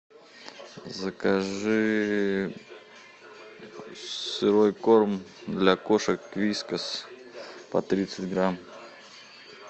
закажи сырой корм для кошек вискас по тридцать грамм